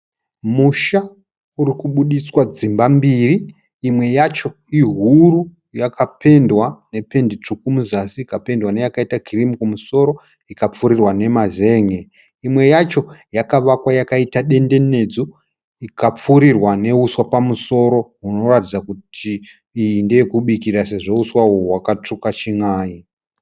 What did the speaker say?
Musha uri kubuditswa dzimba mbiri. Imwe yacho ihuru yakapendwa nependi tsvuku muzasi ikapendwa neyakaita kirimu kumusoro ikapfurirwa nemazen'e. Imwe yacho yakavakwa yakaita dendenedzwa ikapfurirwa nehuswa pamusoro hunoratidza kuti iyi ndeyekubikira sezvo huswa uhu hwakatsvuka chin'ai.